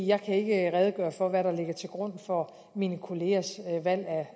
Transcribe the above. jeg kan ikke redegøre for hvad der ligger til grund for mine kollegaers valg